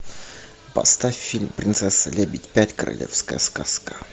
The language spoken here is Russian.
поставь фильм принцесса лебедь пять королевская сказка